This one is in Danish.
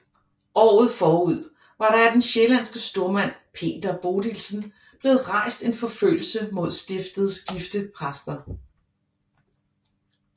Året forud var der af den sjællandske stormand Peder Bodilsen blevet rejst en forfølgelse mod stiftets gifte præster